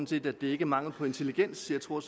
set at det ikke er mangel på intelligens jeg tror